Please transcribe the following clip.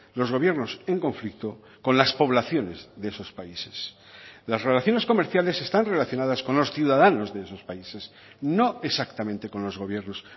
los gobiernos en conflicto con las poblaciones de esos países las relaciones comerciales están relacionadas con los ciudadanos de esos países no exactamente con los gobiernos